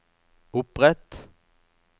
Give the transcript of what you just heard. opprett